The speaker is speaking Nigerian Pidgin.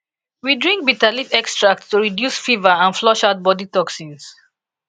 we drink bitter leaf extract to reduce fever and flush out body toxins